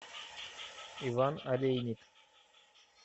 иван олейник